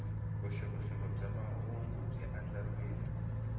vuxokoxoko bya mahungu byi andlariwile